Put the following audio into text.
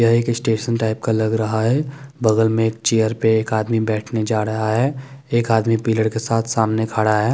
यह एक station type का लग रहा हैं बगल में चेयर पे एक आदमी बैठने जा रहा हैं एक आदमी पिलर के साथ सामने खड़ा हैं।